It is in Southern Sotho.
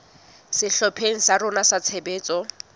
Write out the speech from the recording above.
sehlopheng sa rona sa tshebetso